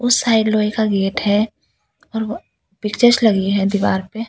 उस साइड लोहे का गेट है और वो पिक्चर्स लगी है दीवार पे --